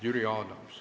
Jüri Adams.